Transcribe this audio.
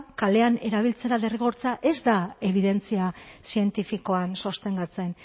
kalean erabiltzera derrigortzea ez da ebidentzia zientifikoan sostengatzen